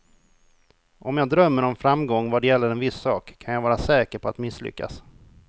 Om jag drömmer om framgång vad gäller en viss sak, kan jag vara säker på att misslyckas.